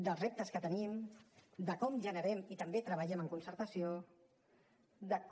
dels reptes que tenim de com generem i també treballem en concertació de com